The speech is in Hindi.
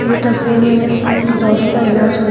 ये तस्वीर में एक डॉगी का इलाज हो रहा--